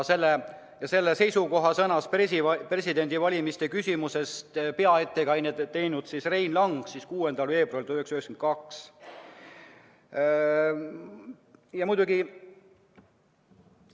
Ja selle seisukoha sõnastas presidendi valimise küsimuses peaettekande teinud Rein Lang 6. veebruaril 1992.